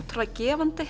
gefandi